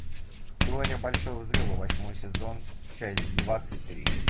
теория большого взрыва восьмой сезон часть двадцать три